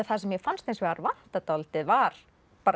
það sem mér fannst hins vegar vanta dálítið var